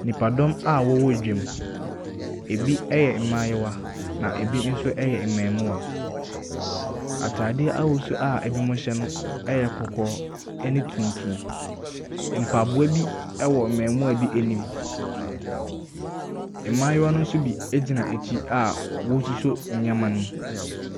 Nnipa dɔm a wɔwɔ dwa mu, ebi yɛ maayew na ebi nso yɛ maamua, ataade ahosuo a ebimo hyɛ no ɛyɛ kɔkɔɔ ɛne tuntum. Mpaboa bi ɛwɔ maamua bi anim, maayewa no so bi egyina akyi a wɔɔsosɔ nneɛma no mu.